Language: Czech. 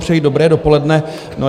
Přeji dobré dopoledne.